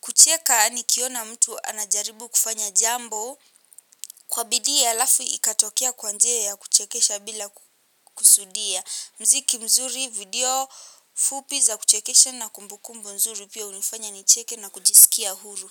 kucheka nikiona mtu anajaribu kufanya jambo kwa bidii alafu ikatokea kwa njia ya kuchekesha bila kusudia. Mziki mzuri video fupi za kuchekesha na kumbukumbu nzuri pia hunifanya nicheke na kujisikia huru.